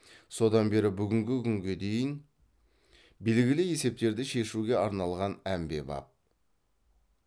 содан бері бүгінгі күнде дейін белгілі есептерді шешуге арналған әмбебап